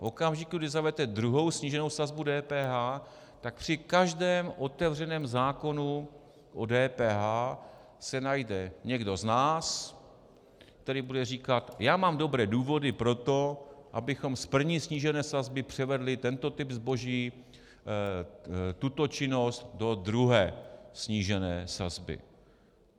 V okamžiku, kdy zavedete druhou sníženou sazbu DPH, tak při každém otevřeném zákonu o DPH se najde někdo z nás, který bude říkat: já mám dobré důvody pro to, abychom z první snížené sazby převedli tento typ zboží, tuto činnost do druhé snížené sazby.